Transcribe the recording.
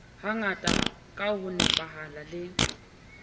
hangata ka ho nepahala le